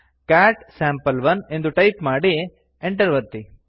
cat sample one ಎಂದು type ಮಾಡಿ enter ಒತ್ತಿ